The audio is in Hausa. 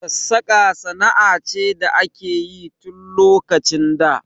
Sassaƙa sana'a ce da akeyi tun lokacin da